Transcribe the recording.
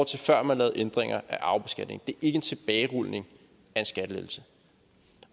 til før man lavede ændringer af arvebeskatningen det er ikke en tilbagerulning af en skattelettelse